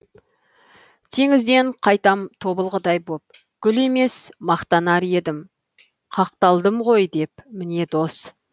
теңізден қайтам тобылғыдай боп гүл емес мақтанар едім қақталдым ғой деп міне дос